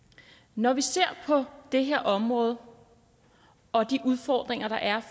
når vi ser på det her område og de udfordringer der er